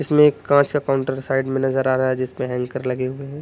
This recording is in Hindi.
इसमें एक कांच का काउंटर साइड में नजर आ रहा है जिसमें हैंकर लगे हुए हैं।